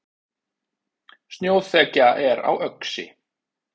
Snjóþekja er á Öxi